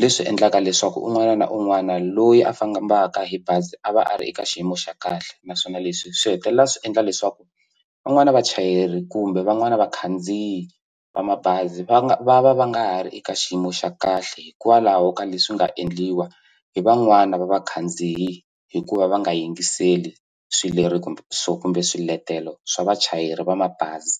leswi endlaka leswaku un'wana na un'wana loyi a fambaka hi bazi a va a ri eka xiyimo xa kahle naswona leswi swi hetelela swi endla leswaku van'wani vachayeri kumbe van'wana vakhandziyi va mabazi va nga va va va nga ha ri eka xiyimo xa kahle hikwalaho ka leswi nga endliwa hi van'wana va vakhandziyi hikuva va nga yingiseli kumbe swiletelo swa vachayeri va mabazi.